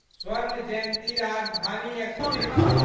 स्वर्ण जयन्ती राजधानी एक्सप्रेस